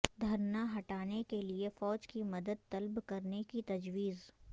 دھرنا ہٹانے کے لیے فوج کی مدد طلب کرنے کی تجویز